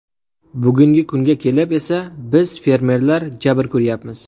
Bugungi kunga kelib esa biz fermerlar jabr ko‘ryapmiz.